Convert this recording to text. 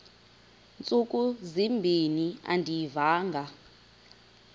ntsuku zimbin andiyivanga